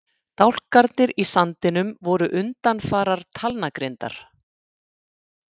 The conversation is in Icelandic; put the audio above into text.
Dálkarnir í sandinum voru undanfarar talnagrindar.